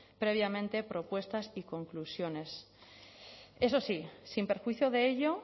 previamente propuestas y conclusiones eso sí sin perjuicio de ello